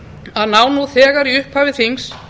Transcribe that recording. að ná nú þegar í upphafi þings